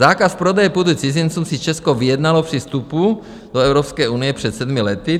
Zákaz prodeje půdy cizincům si Česko vyjednalo při vstupu do Evropské unie před sedmi lety.